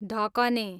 ढकने